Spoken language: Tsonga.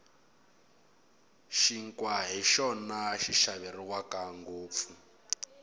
xinkwa hi xona xi xaveriwaka ngopfu